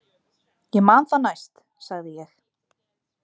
Ég man það næst, sagði ég.